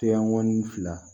Teyɔn ŋɔni fila